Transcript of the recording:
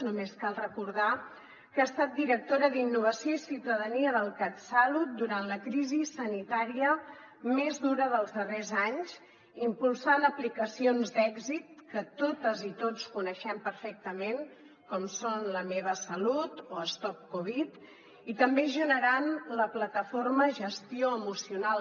només cal recordar que ha estat directora d’innovació i ciutadania del catsalut durant la crisi sanitària més dura dels darrers anys impulsant aplicacions d’èxit que totes i tots coneixem perfectament com són la meva salut o stop covid i també generant la plataforma gestioemocional